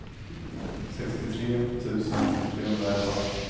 sextiotre tusen trehundraelva